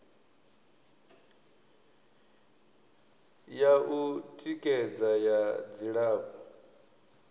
ya u tikedza ya dzilafho